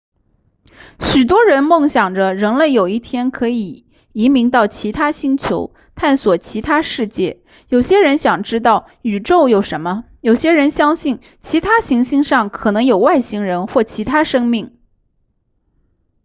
许多人梦想着人类有一天可以移民到其他星球探索其他世界有些人想知道宇宙有什么有些人相信其他行星上可能有外星人或其他生命